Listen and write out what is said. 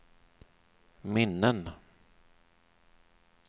minnen